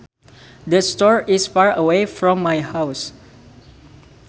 The store is far away from my house